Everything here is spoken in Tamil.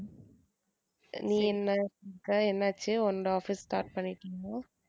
நீ என்ன அஹ் என்னாச்சு உன்னோட office start